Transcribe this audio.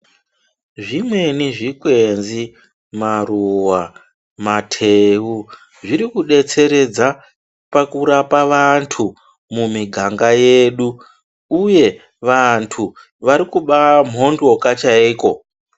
Zvimweni zvikwenzi, maruwa, mateu zviri kudetseredza pakurapa vantu mumiganga yedu uye vantu vari kubamhondoka chaiko.